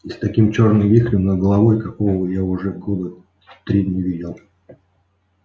и с таким чёрным вихрем над головой какого я уже года три не видел